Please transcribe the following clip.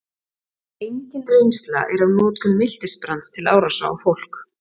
engin reynsla er af notkun miltisbrands til árása á fólk